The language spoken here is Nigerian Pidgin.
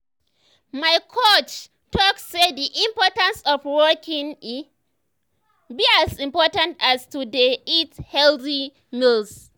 my coach talk say the importance of walking e be as important as to dey eat healthy meals.